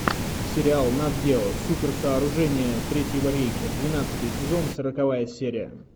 сериал нат гео суперсооружения третьего рейха двенадцатый сезон сороковая серия